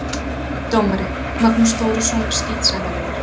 Dómari: Magnús Þórisson, skítsæmilegur.